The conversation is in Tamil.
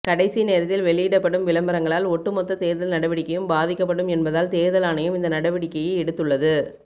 கடைசி நேரத்தில் வெளியிடப்படும் விளம்பரங்களால் ஒட்டுமொத்த தேர்தல் நடவடிக்கையும் பாதிக்கப்படும் என்பதால் தேர்தல் ஆணையம் இந்த நடவடிக்கையை எடுத்துள்ளது